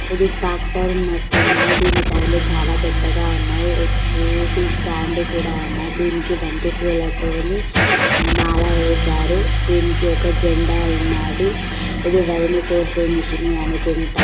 ఇది టాక్టర్ ఉన్నట్టున్నాది దీని టైర్లు చాల పెద్దగా ఉన్నాయి ఎక్కేది స్టాండ్ కూడా ఉన్నాది దీనికి బంతిపూలతోని మాల వేశారు దింట్లో ఒక జెండా ఉన్నది ఇది వరిని కోసే మెషిన్ అనుకుంటా